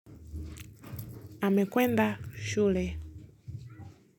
Amekwenda. Shule.